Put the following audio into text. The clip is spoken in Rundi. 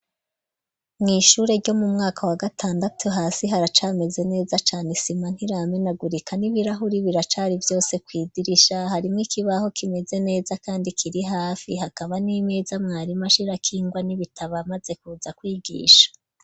Mu ishure ryo mu mwaka wa gatandatu hasi haracameze neza cane isima ntiramenagurika n'ibirahure biracari vyose kw'idirisha harimwo ikibaho kimeze neza kandi kiri hafi hakaba n'imeza mwarimu ashirako ingwa n'ibitabo amaze kuza kwigisha.